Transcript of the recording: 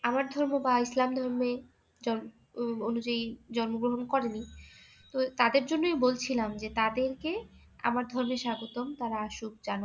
আমার ধর্ম বা ইসলাম ধর্মে অনুযায়ী জন্ম গ্রহণ করেনি তো তাদের জন্যই বলছিলাম যে তাদের কে আমার ধর্মে স্বাগতম তারা আসুক যেন